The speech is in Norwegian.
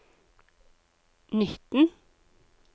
nitten